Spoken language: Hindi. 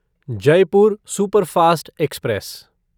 Jaipur superfast express